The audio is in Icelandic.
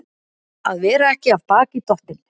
Að vera ekki af baki dottinn